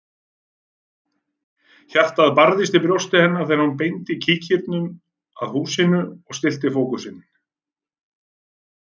Hjartað barðist í brjósti hennar þegar hún beindi kíkinum að húsinu og stillti fókusinn.